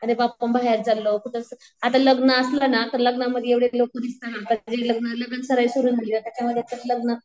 आता बाहेर चाललो. आता लग्न असलं ना लग्नामध्ये एवढे लोकं लगन सराई सुरु झाली त्याच्यामध्ये तर लग्न